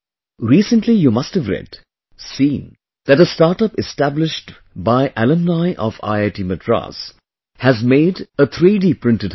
Recently you must have read, seen that a startup established by an alumni of IIT Madras has made a 3D printed house